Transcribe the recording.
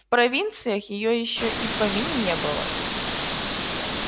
в провинциях её ещё и в помине не было